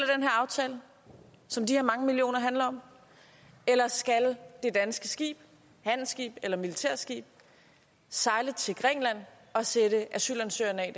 her aftale som de her mange millioner kroner handler om eller skal det danske skib handelsskib eller militærskib sejle til grækenland og sætte asylansøgeren af